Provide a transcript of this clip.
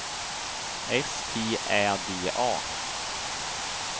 S T Ä D A